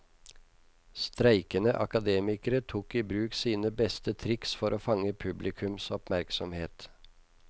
Streikende akademikere tok i bruk sine beste triks for å fange publikums oppmerksomhet.